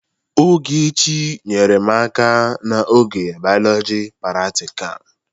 Ogechi nyeere m aka n'oge Bioloji pratikal.